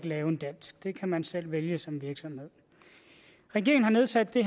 lave en dansk det kan man selv vælge som virksomhed regeringen har nedsat det